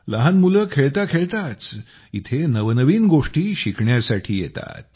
लहान मुलं खेळता खेळताच इथं नवनवीन गोष्टी शिकण्यासाठी येतात